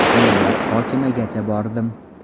Viloyat hokimigacha bordim.